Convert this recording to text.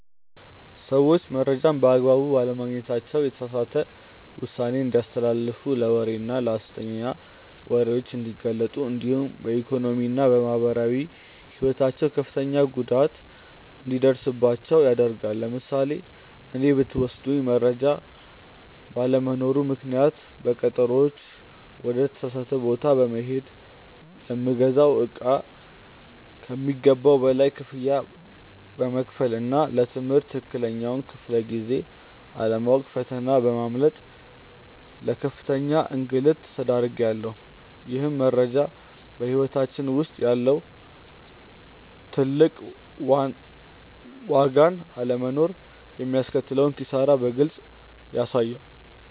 ሰዎች መረጃን በአግባቡ ባለማግኘታቸው የተሳሳተ ውሳኔ እንዲያስተላልፉ ለወሬና ለሐሰተኛ ወሬዎች እንዲጋለጡ እንዲሁም በኢኮኖሚና በማህበራዊ ሕይወታቸው ከፍተኛ ጉዳት እንዲደርስባቸው ያደርጋል። ለምሳሌ እኔን ብትወስዱኝ መረጃ ባለመኖሩ ምክንያት ለቀጠሮዎች ወደ ተሳሳተ ቦታ በመሄድ፣ ለምገዛው እቃ ከሚገባው በላይ ክፍያ በመክፈልና ለ ትምህርት ትክክለኛውን ክፍለ-ጊዜ አለማወቅ ፈተና በማምለጥ ለከፍተኛ እንግልት ተዳርጌያለሁ። ይህም መረጃ በሕይወታችን ውስጥ ያለውን ትልቅ ዋጋና አለመኖሩ የሚያስከትለውን ኪሳራ በግልጽ ያሳያል።